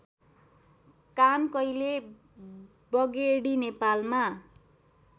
कानकैले बगेडी नेपालमा